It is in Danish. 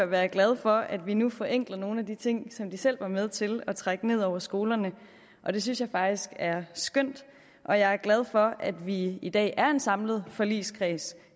være glad for at vi nu forenkler nogle af de ting som de selv var med til at trække ned over skolerne og det synes jeg faktisk er skønt og jeg er glad for at vi i dag er en samlet forligskreds